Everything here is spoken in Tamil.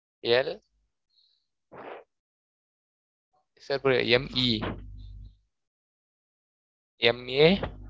LMAsir புரியல MEMA